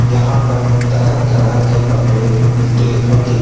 यहां पर तरह तरह के कपड़े मिलते होंगे।